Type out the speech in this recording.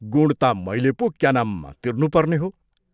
गुण ता मैले पो क्या नाम तिर्नुपर्ने हो।